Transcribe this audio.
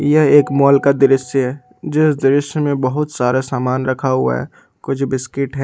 यह एक मॉल का एक दृश्य है जिस दृश्य में बहुत सारा सामान रखा हुआ है कुछ बिस्किट है।